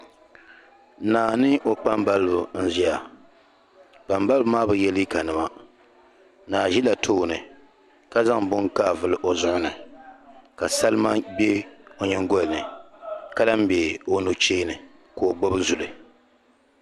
naa ni o kpambaliba n-ʒia kpambaliba maa bi ye liiganima naa ʒila tooni ka zaŋ bini kaavuli o zuɣu ni ka salima be o nyingoli ni ka lahi be o nuchee ni ka o gbubi zuli